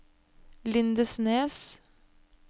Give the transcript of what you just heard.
Lindesnes